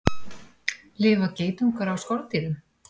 Lifa geitungar á skordýrum?